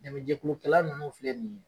Dɛmɛ jɛkulukɛla nunnu filɛ nin ye